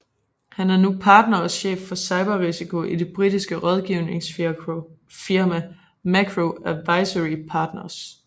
Han er nu partner og chef for cyber risiko i det britiske rådgivningsfirma Macro Advisory Partners